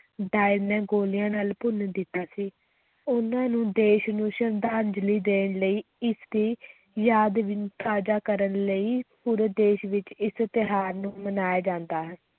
Dyer ਨੇ ਗੋਲੀਆਂ ਨਾਲ ਭੁੰਨ ਦਿੱਤਾ ਸੀ, ਉਨ੍ਹਾਂ ਨੂੰ ਦੇਸ਼ ਨੂੰ ਸ਼ਰਧਾਂਜਲੀ ਦੇਣ ਲਈ ਇਸ ਦੀ ਯਾਦ ਵੀ ਤਾਜ਼ਾ ਕਰਨ ਲਈ ਪੂਰੇ ਦੇਸ ਵਿੱਚ ਇਸ ਤਿਉਹਾਰ ਨੂੰ ਮਨਾਇਆ ਜਾਂਦਾ ਹੈ।